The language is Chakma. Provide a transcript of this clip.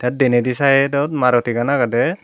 denedi side ot maruti gan agede.